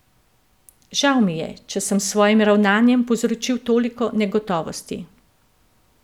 Žal mi je, če sem s svojim ravnanjem povzročil toliko negotovosti.